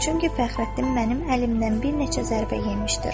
Çünki Fəxrəddin mənim əlimdən bir neçə zərbə yemişdir.